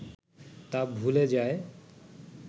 তা ভুলে যায়